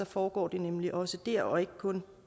foregår det nemlig også der og ikke kun